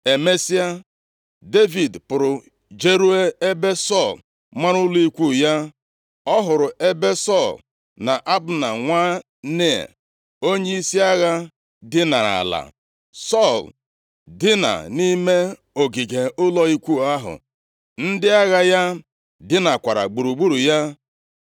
Emesịa, Devid pụrụ jeruo ebe Sọl mara ụlọ ikwu ya. Ọ hụrụ ebe Sọl na Abna nwa Nea, onyeisi agha dinara ala. Sọl dina nʼime ogige ụlọ ikwu ahụ, ndị agha ya dinakwara gburugburu ya.